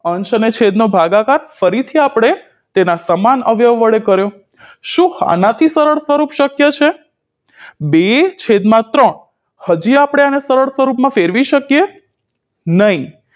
અંશ અને છેદનો ભાગાકાર ફરીથી આપણે તેના સમાન અવ્યવ વડે કર્યો શું આનાથી સરળ સ્વરૂપ શક્ય છે બે છેદમાં ત્રણ હજી આપણે આને સરળ સ્વરૂપમાં ફેરવી શકીએ નહીં